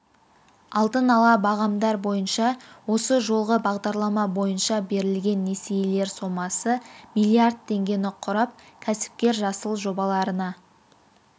алдын-ала бағамдар бойынша осы жолғы бағдарлама бойынша берілген несиелер сомасы миллиард теңгені құрап кәсіпкер жасыл жобаларына